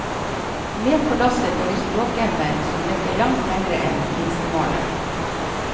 Med på lasset får de språkevner som rekker langt lengre enn minstemålet.